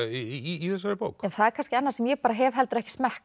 í þessari bók það er kannski annað sem ég hef heldur ekki smekk